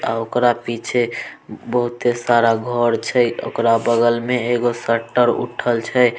अ ओकरा पीछे बहुत सारा घर छै ओकरा बगल में एगो शटर उठल छै।